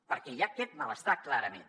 perquè hi ha aquest malestar clarament